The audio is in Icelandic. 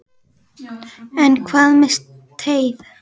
En hvað með teið?